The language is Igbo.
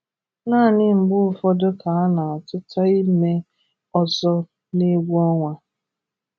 Naanị mgbe ụfọdụ ka a na-atụta ime ọzọ n’egwu ọnwa